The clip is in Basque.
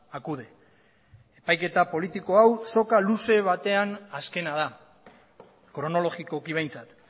acude epaiketa politiko hau soka luze batean azkena da kronologikoki behintzat